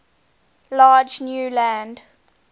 large new land